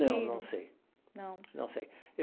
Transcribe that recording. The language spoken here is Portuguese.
Não, não sei. Não. Não sei.